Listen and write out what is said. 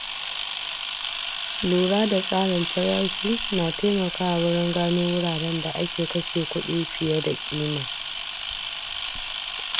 Lura da tsarin farashi na taimakawa wurin gano wuraren da ake kashe kuɗi fiye da ƙima.